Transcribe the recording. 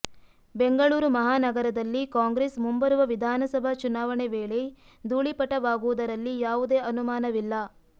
ಬೆಂಗಳೂರು ಮಹಾನಗರದಲ್ಲಿ ಕಾಂಗ್ರೆಸ್ ಮುಂಬರುವ ವಿಧಾನಸಭಾ ಚುನಾವಣೆ ವೇಳೆ ಧೂಳಿಪಟವಾಗುವುದರಲ್ಲಿ ಯಾವುದೇ ಅನುಮಾನವಿಲ್ಲ